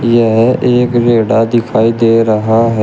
यह एक रेढ़ा दिखाई दे रहा है।